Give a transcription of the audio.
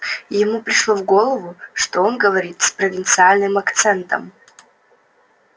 ему пришло в голову что он говорит с провинциальным акцентом